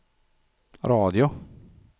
radio